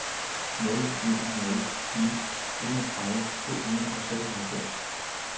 nul en nul ni enogtredive to hundrede og seksoghalvfems